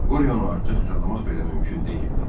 Qoryonu artıq tanımaq belə mümkün deyildi.